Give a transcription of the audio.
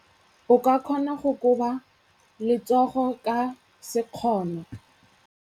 O ka kgona go koba letsogo ka sekgono.